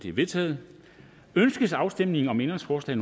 er vedtaget ønskes afstemning om ændringsforslag